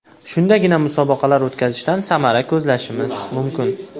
Shundagina musobaqalar o‘tkazishdan samara ko‘zlashimiz mumkin.